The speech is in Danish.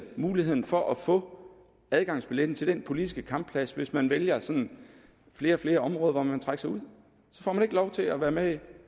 muligheden for at få adgangsbilletten til den politiske kampplads hvis man vælger flere og flere områder hvor man vil trække sig ud så får man ikke lov til at være med